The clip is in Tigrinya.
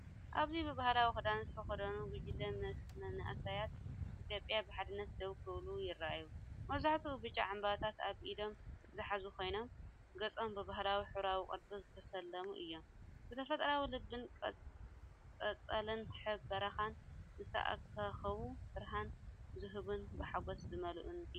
ኣብዚ ብባህላዊ ክዳን ዝተኸድኑ ጉጅለ መንእሰያት ኢትዮጵያ ብሓድነት ደው ክብሉ ይረኣዩ። መብዛሕትኡ ብጫ ዕምባባታት ኣብ ኢዶም ዝሓዙ ኮይኖም፡ ገጾም ብባህላዊ ሕብራዊ ቅርጺ ዝተሰለሙ እዮም። ብተፈጥሮኣዊ ልብን ቆጽሊ በረኻን ዝተኸበቡ ብርሃን ዝህቡን ብሓጎስ ዝመልኡን እዮም።